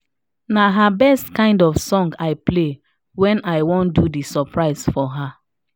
na her best kind of song i play when i do the surprise for her